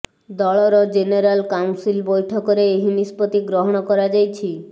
ଦଳର general council ବୈଠକରେ ଏହି ନିଷ୍ପତ୍ତି ଗ୍ରହଣ କରାଯାଇଛି